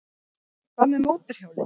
Hvað með mótorhjólið?